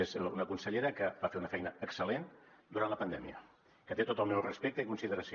és una consellera que va fer una feina excel·lent durant la pandèmia que té tot el meu respecte i consideració